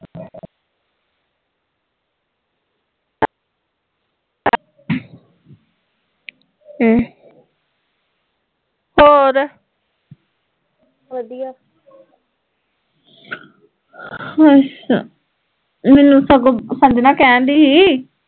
ਹਮ ਹੋਰ ਅੱਛਾ, ਮੈਨੂੰ ਸਗੋਂ ਸੰਜਨਾ ਕਹਿਣ ਡਈ ਸੀ